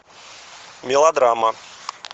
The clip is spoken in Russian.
мелодрама